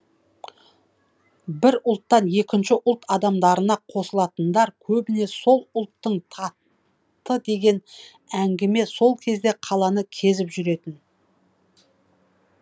бір ұлттан екінші ұлт адамдарына қосылатындар көбіне сол ұлттың татты деген әңгіме сол кезде қаланы кезіп жүретін